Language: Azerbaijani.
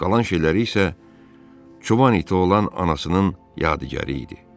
Qalan şeyləri isə çoban iti olan anasının yadigarı idi.